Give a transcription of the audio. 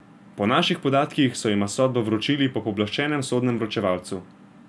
Po naših podatkih so jima sodbo vročili po pooblaščenem sodnem vročevalcu.